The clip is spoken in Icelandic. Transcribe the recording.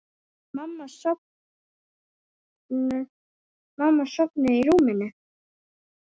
Mamma sofnuð í rúminu.